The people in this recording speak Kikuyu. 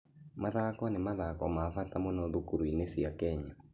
Mathako nĩ mathako ma bata mũno thukuru-inĩ cia Kenya.